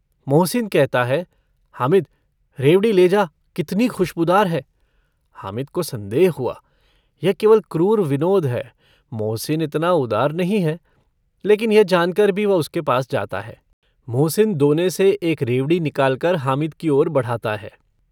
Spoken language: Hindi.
मोहसिन कहता है - हामिद रेवड़ी ले जा। कितनी खुशबूदार है। हामिद को सन्देह हुआ यह केवल क्रूर विनोद है। मोहसिन इतना उदार नहीं है। लेकिन यह जानकर भी वह उसके पास जाता है। मोहसिन दोने से एक रेवड़ी निकालकर हामिद की ओर बढ़ाता है।